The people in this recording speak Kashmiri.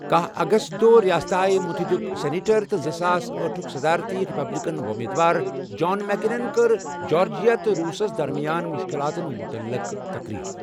کاہَ اگست دۄہ ریاستہ ائے متحدہُک سینیٹر تہٕ زٕساس أٹھُک صدارتی ریپبلکن وۄمیدوار جان مکینَن کٔر جارجیا تہٕ روٗسَس درمیان مُشکِلاتَن مُتعلِق تقریر۔